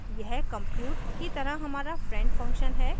यह compute की तरह हमारा friend function है